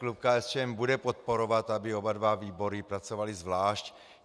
Klub KSČM bude podporovat, aby oba dva výbory pracovaly zvlášť.